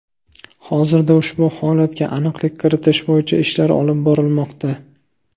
Hozirda ushbu holatga aniqlik kiritish bo‘yicha ishlar olib borilmoqda.